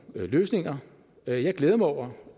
løsninger jeg glæder mig over